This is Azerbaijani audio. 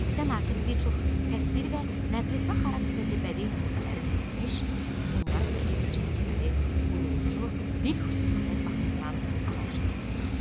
Sən artıq bir çox təsvir və nəql etmə xarakterli bədii nümunələri dinləmiş, onları səciyyəvi cəhətləri, quruluşu, dil xüsusiyyətləri baxımından araşdırmısan.